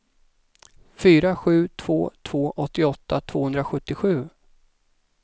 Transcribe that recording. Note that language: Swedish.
fyra sju två två åttioåtta tvåhundrasjuttiosju